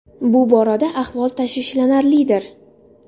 Bu borada ahvol tashvishlanarlidir.